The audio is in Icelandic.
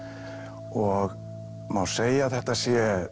og má segja að þetta sé